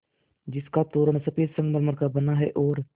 जिसका तोरण सफ़ेद संगमरमर का बना है और